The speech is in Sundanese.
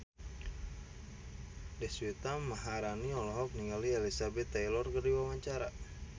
Deswita Maharani olohok ningali Elizabeth Taylor keur diwawancara